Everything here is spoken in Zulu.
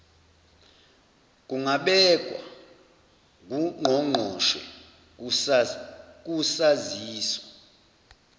kungabekwa ngungqongqoshe kusaziso